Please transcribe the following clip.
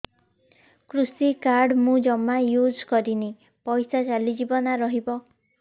କୃଷି କାର୍ଡ ମୁଁ ଜମା ୟୁଜ଼ କରିନି ପଇସା ଚାଲିଯିବ ନା ରହିବ